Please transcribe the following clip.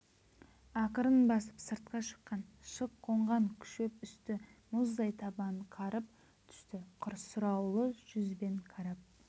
ақырын басып сыртқа шыққан шық қонған шөп үсті мұздай табанын қарып түсті сұраулы жүзбен қарап